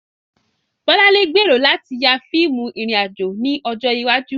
Bolanle gbèrò láti ya fíìmù ìrìn-àjò ní ọjọ́ iwájú.